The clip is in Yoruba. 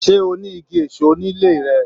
Se o ni Igi èso ní ilé rẹ?